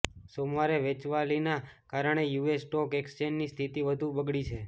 સોમવારે વેચવાલીના કારણે યુએસ સ્ટોક એક્સચેન્જની સ્થિતિ વધુ બગળી છે